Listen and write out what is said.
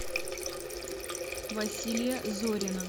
василия зорина